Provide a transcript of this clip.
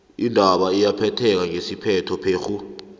indaba iyaphetheka ngesiphetho phekghu